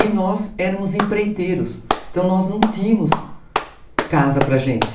E nós éramos empreiteiros, então nós não tínhamos casa para a gente.